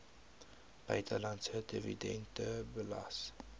buitelandse dividende belas